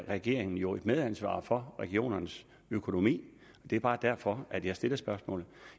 regeringen jo et medansvar for regionernes økonomi det er bare derfor at jeg stiller spørgsmålet